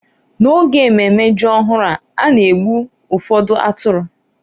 n'oge ememe ji ọhụrụ a na-egbu ụfọdụ atụrụ